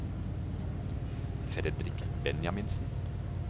Fredrik Benjaminsen